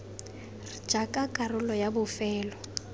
r jaaka karolo ya bofelo